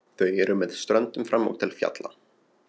Þau eru með ströndum fram og til fjalla.